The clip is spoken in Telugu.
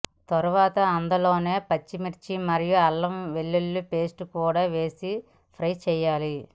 తర్వాత అందులోనే పచ్చిమిర్చి మరియు అల్లం వెల్లుల్లి పేస్ట్ కూడా వేసి ఫ్రై చేయాలి